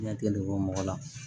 Ɲɛ kelen bɔ mɔgɔ la